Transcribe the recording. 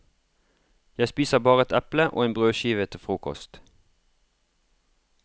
Jeg spiser bare et eple og en brødskive til frokost.